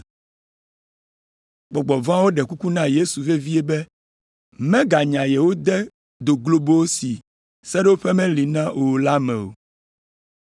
Gbɔgbɔ vɔ̃awo ɖe kuku na Yesu vevie be meganya yewo de do globo si seɖoƒe meli na o la me o.